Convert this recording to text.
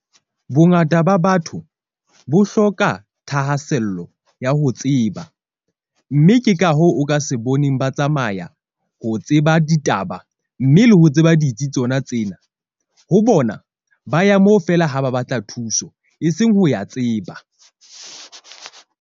Bongata ba batho bo hloka thahasello ya ho tseba, mme ke ka hoo o ka se boneng ba tsamaya ho tseba ditaba. Mme le ho tseba ditsi tsona tsena ho bona ba ya mo feela ha ba batla thuso e seng ho ya tseba.